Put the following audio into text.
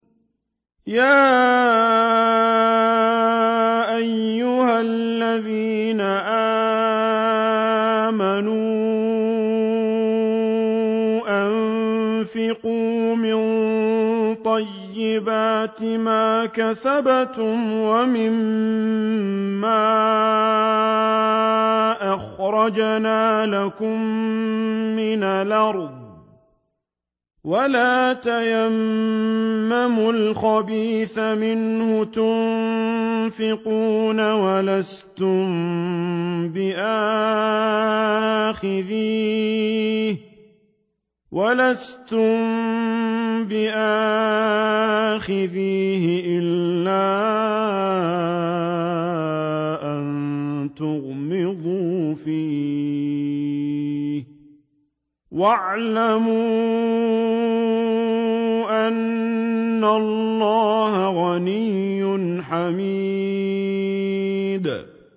يَا أَيُّهَا الَّذِينَ آمَنُوا أَنفِقُوا مِن طَيِّبَاتِ مَا كَسَبْتُمْ وَمِمَّا أَخْرَجْنَا لَكُم مِّنَ الْأَرْضِ ۖ وَلَا تَيَمَّمُوا الْخَبِيثَ مِنْهُ تُنفِقُونَ وَلَسْتُم بِآخِذِيهِ إِلَّا أَن تُغْمِضُوا فِيهِ ۚ وَاعْلَمُوا أَنَّ اللَّهَ غَنِيٌّ حَمِيدٌ